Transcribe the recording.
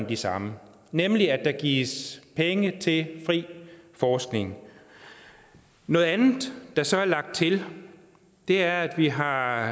de samme nemlig at der gives penge til fri forskning noget andet der så er lagt til er at vi har